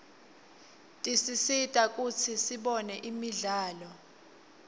tisisita kutsi sibone imidlalo